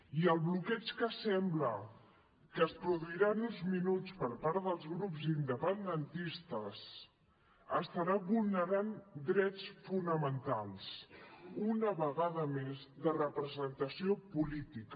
i el bloqueig que sembla que es produirà en uns minuts per part dels grups independentistes estarà vulnerant drets fonamentals una vegada més de representació política